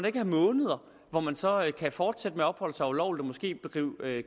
ikke have måneder hvor man så kan fortsætte med at opholde sig ulovligt og måske bedrive